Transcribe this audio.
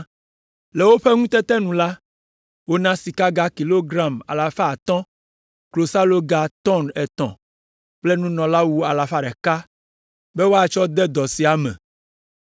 Le woƒe ŋutete nu la, wona sikaga kilogram alafa atɔ̃ (500), klosaloga tɔ̃n etɔ̃ kple nunɔlawu alafa ɖeka (100) be woatsɔ de dɔ sia me.